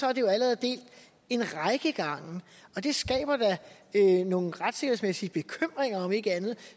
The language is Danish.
er det jo allerede delt en række gange og det skaber da nogle retssikkerhedsmæssige bekymringer om ikke andet